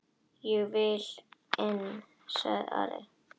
Ég vil inn, sagði Ari.